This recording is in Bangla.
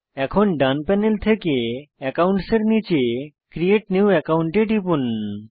এখন ডান প্যানেল থেকে একাউন্টস এর নীচে ক্রিয়েট নিউ একাউন্ট এ টিপুন